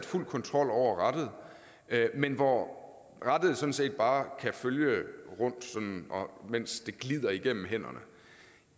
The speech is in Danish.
fuld kontrol over rattet men hvor rattet sådan set bare kan følge rundt mens det glider igennem hænderne